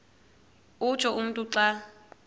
utsho umntu xa